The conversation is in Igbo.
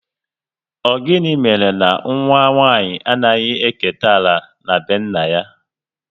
Ọ gịnị mere na nwa nwanyị anaghị eketa ala na be nna ya?